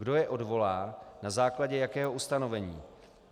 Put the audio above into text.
Kdo je odvolá, na základě jakého ustanovení.